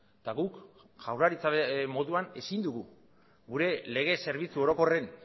eta guk jaurlaritza moduan ezin dugu gure lege zerbitzu orokorren